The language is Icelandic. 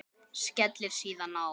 Skellir síðan á.